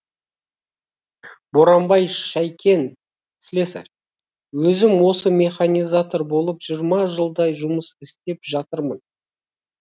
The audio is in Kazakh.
боранбай шайкен слесарь өзім осы механизатор болып жиырма жылдай жұмыс істеп жатырмын